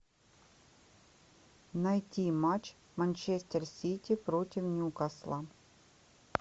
найти матч манчестер сити против ньюкасла